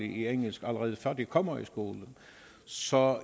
engelsk allerede før de kommer i skole så